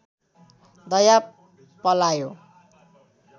दया पलायो